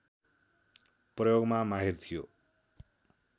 प्रयोगमा माहिर थियो